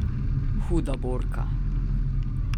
Huda borka.